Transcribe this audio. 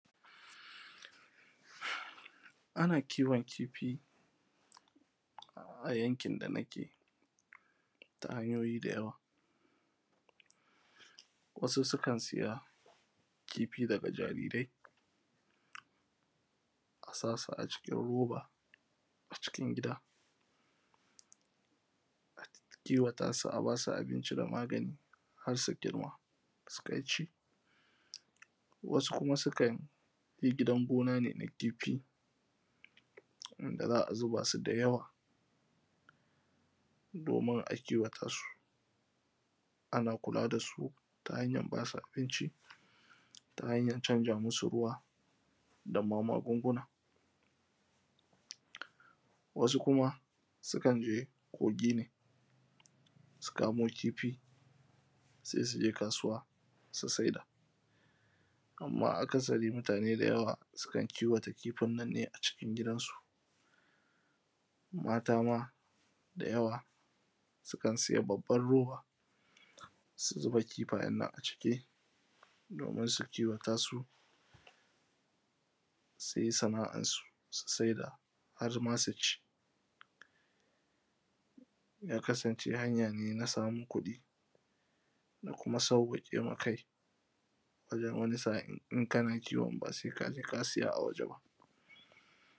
ana kiwon kifi a yankin da nake ta hanyoyi da yawa, wasu su kan siya kifi daga jarirai, a sa su a cikin roba a cikin gida, a kiwata su, a ba su abinci da magani har su girma, su kai ci. Wasu kuma su kan yi gidan gona ne na kifi, wanda za a zuba su da yawa, noman a kiwata su, ana kula da su ta hanyan ba su abinci, ta hanyan canza musu ruwa, da magunguna. wasu kuma su kan je kogi ne, su kamo kifi, se su je kasuwa su saida. Amma akasari mutane da yawa suna kiwata kifin nan ne a cikin gidansu, mata ma da yawa sukan sayi babban roba, su zuba kifayen nan a ciki, domin su kiwata su, su yi sana’ansu, su saida, har ma su ci ya kasance hanya ne na samu kuɗi, da kuma sauƙake ma kai wajen wani sa in kana kiwon, ba se ka je ka siya a waje ba.